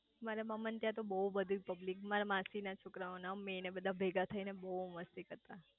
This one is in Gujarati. મારા મામા ના ત્યાં તો બહુ બધી પબ્લિક મારા માસી ના છોકરાઓ ને અમે ને બધા ભેગા થઇ ને બહુ મસ્તી કરતા